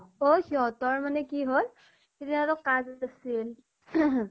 অ সিহঁতৰ মানে কি হল, সিদিনাটো কাজ আছিল